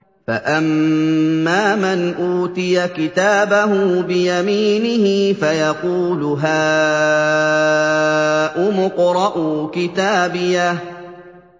فَأَمَّا مَنْ أُوتِيَ كِتَابَهُ بِيَمِينِهِ فَيَقُولُ هَاؤُمُ اقْرَءُوا كِتَابِيَهْ